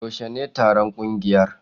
Yaushe ne taron ƙungiyar?